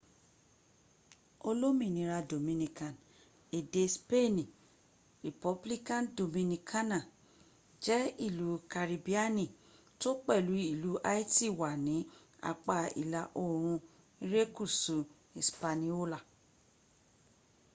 olominira dominikan ede speeni: republica dominicana jẹ́ ilú karibiani tó pẹ̀lú ìlú haiti wà ní apá ìlà orùn irekusu ispaniola